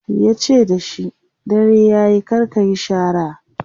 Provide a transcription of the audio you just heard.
yace da shi "dare yayi kar kayi shara!"